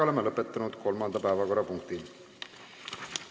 Oleme lõpetanud kolmanda päevakorrapunkti menetlemise.